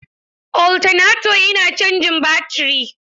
Oltaneto yana cajin baturi.